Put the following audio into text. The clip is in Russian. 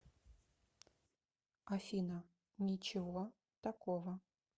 афина ничего такого